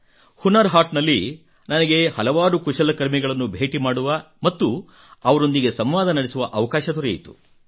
ಹುನರ್ ಹಾಟ್ ನಲ್ಲಿ ನನಗೆ ಹಲವಾರು ಕುಶಲಕರ್ಮಿಗಳನ್ನು ಭೇಟಿ ಮಾಡುವ ಮತ್ತು ಅವರೊಂದಿಗೆ ಸಂವಾದ ನಡೆಸುವ ಅವಕಾಶ ದೊರೆಯಿತು